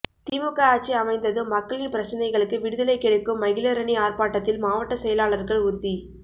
திமுக ஆட்சி அமைந்ததும் மக்களின் பிரச்னைகளுக்கு விடுதலை கிடைக்கும் மகளிரணி ஆர்ப்பாட்டத்தில் மாவட்ட செயலாளர்கள் உறுதி